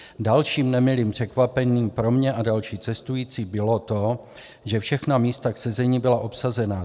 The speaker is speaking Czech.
Dalším nemilým překvapením pro mě a další cestující bylo to, že všechna místa k sezení byla obsazena.